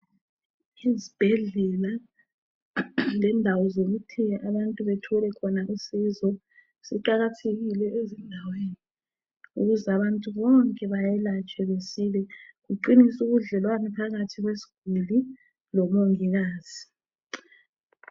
Izibhedlela lendawo zokuthi abantu bathole khona usizo ziqakathekile ukuze abantu bonke bayelatshwe besile kuqinise ubudlelwano phakathi kwesiguli lomongikazi.